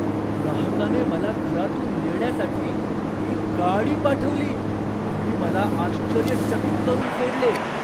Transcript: ग्राहकाने मला घरातून नेण्यासाठी एक गाडी पाठवली आणि मला आश्चर्यचकित करून सोडले.